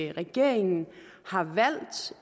at regeringen har valgt